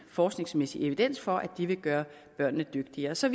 forskningsmæssig evidens for at det vil gøre børnene dygtigere så